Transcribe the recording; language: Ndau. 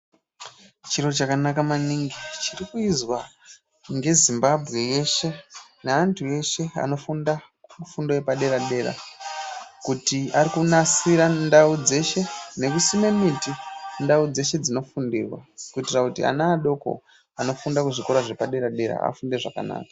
Chiro chakanaka maningi chiri kuizwa nge Zimbabwe yeshe ne antu eshe anofunda fundo yepa dera dera kuti ari kunasira ndau dzeshe neku sime miti ndau dzeshe dzino fundirwa kuitira kuti ana adoko anofunda ku zvikora zvepa dera dera afunde zvakanaka.